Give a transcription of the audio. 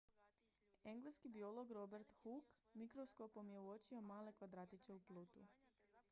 engleski biolog robert hooke mikroskopom je uočio male kvadratiće u plutu